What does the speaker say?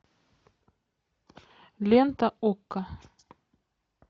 лента окко